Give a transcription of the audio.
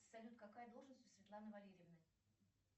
салют какая должность у светланы валерьевны